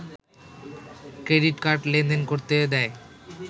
credit card লেনদেন করতে দেয়